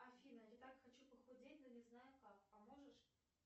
афина я так хочу похудеть но не знаю как поможешь